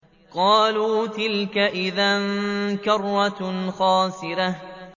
قَالُوا تِلْكَ إِذًا كَرَّةٌ خَاسِرَةٌ